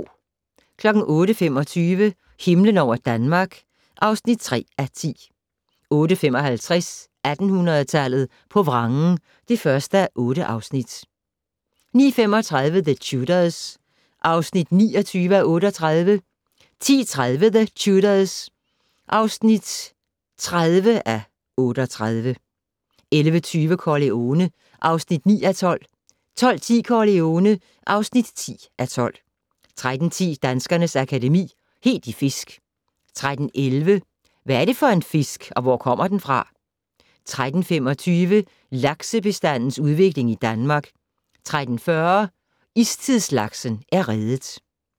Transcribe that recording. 08:25: Himlen over Danmark (3:10) 08:55: 1800-tallet på vrangen (1:8) 09:35: The Tudors (29:38) 10:30: The Tudors (30:38) 11:20: Corleone (9:12) 12:10: Corleone (10:12) 13:10: Danskernes Akademi: Helt i fisk 13:11: Hvad er det for en fisk, og hvor kommer den fra? 13:25: Laksebestandens udvikling i Danmark 13:40: Istidslaksen er reddet